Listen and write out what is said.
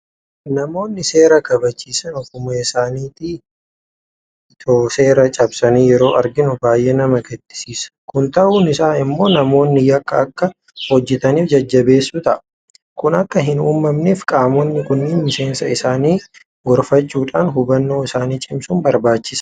Namoonni seera kabachiisan ofuma isaaniitii itoo seera cabsanii yeroo arginu baay'ee nama gaddisiisa. Kun ta'uun isaa immoo namoonni yakka akka hojjetaniif jajjabeessuu ta'a. Kun akka hin uumamneef qaamonni kun miseensa isaanii gorfachuudhaan hubannoo isaanii cimsuun barbaachisaadha.